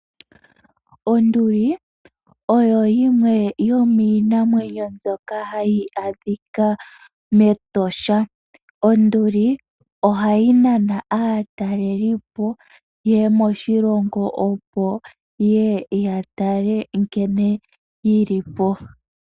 Onduli oyo yimwe yominamwenyo mbyoka hayi adhika metosha. Onduli ohayi nana aatalelipo yeye moshilongo ye ye ya tale nkene yili po.